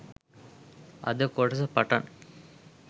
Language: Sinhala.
අද කොටස පටන්